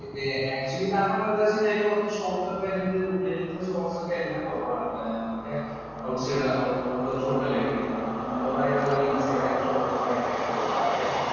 Actually കാരണം എന്താന്നു വച്ചുകഴിഞ്ഞാല്‍ അതിലെ കുറച്ചു shot ഒക്കെ വരുന്നത് ഉള്ളിലത്തെ shot ഒക്കെ എല്ലാം കൊറവാണ്. Outside outdoor shot അല്ലേ വരുന്നേ. Indoor ആയിട്ട് അല്ലെങ്കില്‍ inside ആയിട്ടുള്ള shot ഉകള്‍ ഭയങ്കരായിട്ട് കുറവാ. ആകെ